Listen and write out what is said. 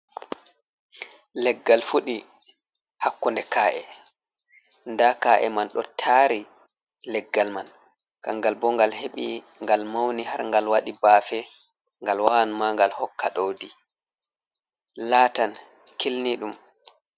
Leggal fuɗi hakkunde ka'e, nda ka'e man ɗo tari leggal man, kangal bo ngal heɓi ngal mauni har ngal waɗi baafe, ngal wawan ma ngal hokka ɗowdi latan kilniɗum.